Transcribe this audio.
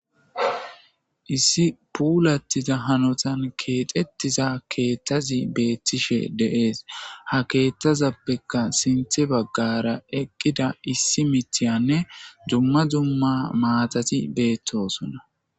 Issi puulattiza hanotan keexettiza keettazi beettishe deees ha keeththazappekka sinthe baggara eqqida issi mitiyanne dumma dumma maatati beettosona.